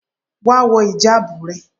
Wá wọ ìjábù rẹ.!